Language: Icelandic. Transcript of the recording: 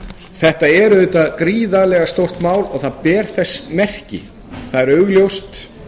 þetta er auðvitað gríðarlega stórt mál og það ber þess merki það er augljóst